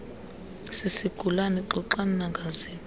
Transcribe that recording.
sisigulana xoxani nangaziphi